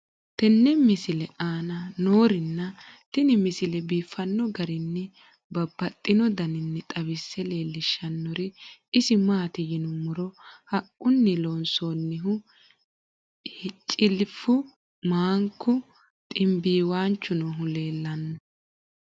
tenne misile aana noorina tini misile biiffanno garinni babaxxinno daniinni xawisse leelishanori isi maati yinummoro haquunni loonsoonnihu cilifu, maanku, xinibiiwaanchu noohu leellanno.